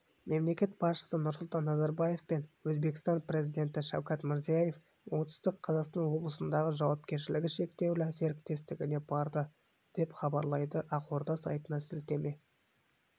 мемлекет басшысы нұрсұлтан назарбаев пен өзбекстан президенті шавкат мирзиев оңтүстік қазақстан облысындағы жауапкершілігі шектеулі серіктестігіне барды деп хабарлайды ақорда сайтына сілтеме